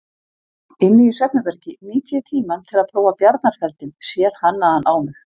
Inni í svefnherbergi nýti ég tímann til að prófa bjarnarfeldinn, sérhannaðan á mig.